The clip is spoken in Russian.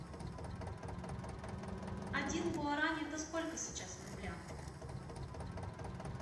один гуарани это сколько сейчас в рублях